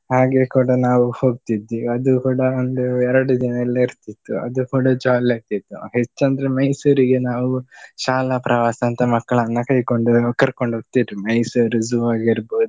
ಹಾಗೆ ಕೂಡ ನಾವು ಹೋಗ್ತಿದ್ವಿ ಅದು ಕೂಡ ಒಂದು ಎರಡು ದಿನ ಎಲ್ಲ ಇರ್ತಿತ್ತು. ಅದು ಕೂಡ jolly ಆಗ್ತಿತ್ತು. ಹೆಚ್ಚಂದ್ರೆ ಮೈಸೂರಿಗೆ ನಾವು ಶಾಲಾ ಪ್ರವಾಸ ಅಂತ ಮಕ್ಕಳನ್ನ ಕರಿಕೊಂಡು ಕರ್ಕೊಂಡು ಹೋಗ್ತಿದ್ರು ಮೈಸೂರು zoo ಆಗಿರ್ಬಹುದು.